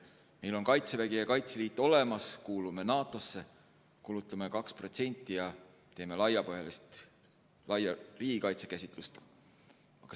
Meil on Kaitsevägi ja Kaitseliit, kuulume NATO-sse, kulutame 2% SKT-st ja toetume laiapõhjalise riigikaitse käsitlusele.